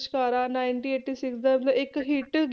ਲਿਸ਼ਕਾਰਾ ninety eighty six ਦਾ ਇੱਕ hit